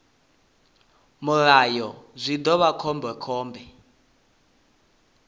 mulayo zwi ḓo vha khombekhombe